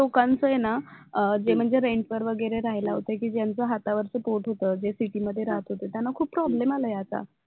लोकांचं आहे ना, अं जे म्हणजे rent वर वगैरे होते कि ज्यांचं हातावरच पोट होत, जे city मध्ये राहत होते त्यांना खूप प्रॉब्लेम आला आहे आता